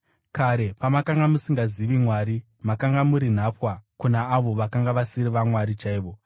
Kare, pamakanga musingazivi Mwari, makanga muri nhapwa kuna avo vakanga vasiri vamwari chaivo.